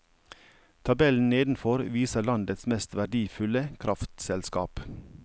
Tabellen nedenfor viser landets mest verdifulle kraftselskap.